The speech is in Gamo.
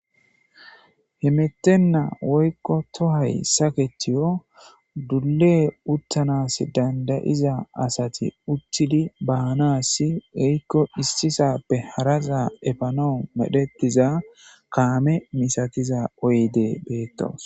himettenna woykko tohay saketiyo dulle uttanas dandayiza asati uttidi baanasi woykko issisappe harasa efanas medhetiza kaame misattiza oyddey beettes